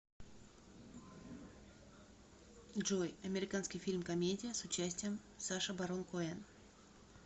джой американский фильм комедия с участием саша барон коэн